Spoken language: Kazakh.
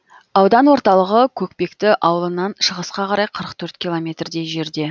аудан орталығы көкпекті ауылынан шығысқа қарай қырық төрт километрдей жерде